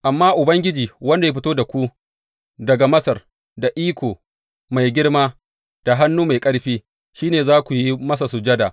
Amma Ubangiji wanda ya fito da ku daga Masar da iko mai girma da hannu mai ƙarfi, shi ne za ku yi masa sujada.